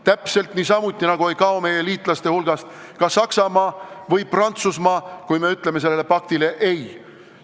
Täpselt niisamuti ei kao meie liitlaste hulgast ka Saksamaa või Prantsusmaa, kui me sellele paktile ei ütleme.